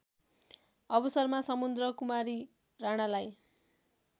अवसरमा समुद्रकुमारी राणालाई